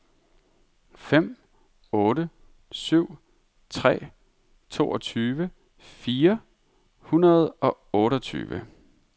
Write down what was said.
fem otte syv tre toogtyve fire hundrede og otteogtyve